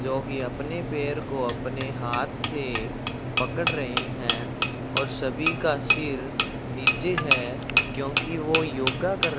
जो कि अपने पैर को अपने हाथ से पकड़ रहे हैं और सभी का सिर नीचे है क्योंकि वो योगा कर